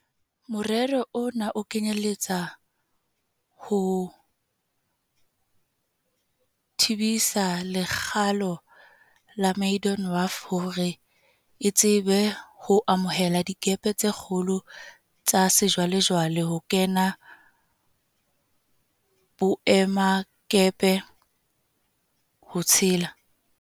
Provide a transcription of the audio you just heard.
Morero ona o kenyeletsa ho tebisa lekgalo la Maydon Wharf hore e tsebe ho amohela dikepe tse kgolo tsa sejwale-jwale ho kena boemakepe, ho tshela